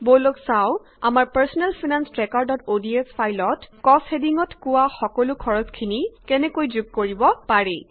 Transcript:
বলক চাও আমাৰ পাৰ্ছনেল ফাইনান্স ট্ৰেকাৰods ফাইলত কষ্ট হেডিঙত কোৱা সকলো খৰচখিনি যোগ কৰিব পাৰি